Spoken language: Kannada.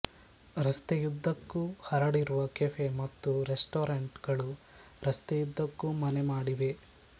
ರಸ್ತೆಯ್ದ್ದಕ್ಕೂ ಹರಡಿರುವ ಕೆಫೆ ಮತ್ತು ರೆಸ್ಟಾರೆಂಟ್ ಗಳು ರಸ್ತೆಯುದ್ದಕ್ಕೂ ಮನೆಮಾಡಿವೆ